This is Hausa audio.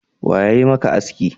Wa yayi maka aski?